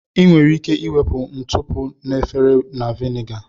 Ị nwere ike wepụ ntụpọ na efere na Viniga